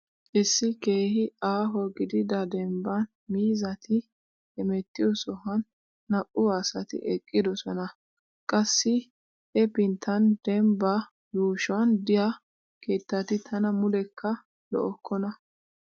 Issi keehi aaho gidida dembban miizzati heemettiyo sohuwan naa"u asati eqqidosona. Qassi hepinttan dembaa yuushuwan diya keettati tana muleekka lo'okkona.